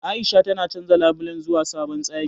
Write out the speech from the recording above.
A'isha tana canja labulen zuwa sabon tsari.